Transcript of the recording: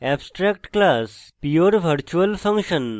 abstract class pure virtual function